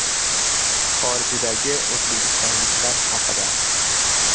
Xorijdagi o‘zbekistonliklar haqida.